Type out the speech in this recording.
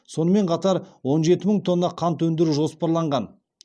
сонымен қатар он жеті мың тонна қант өндіру жоспарланған